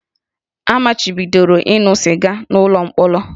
A machibidoro ịṅụ sịga n'ụlọ mkpọrọ